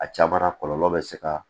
A caman kɔlɔlɔ bɛ se ka